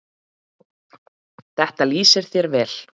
Þetta lýsir þér vel.